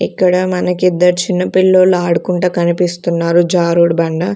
ఇక్కడ మనకిద్దరు చిన్నపిల్లోలు ఆడుకుంటా కనిపిస్తున్నారు జారుడబండ.